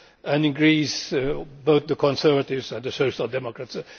and in Greece, both the Conservatives and the Social Democrats.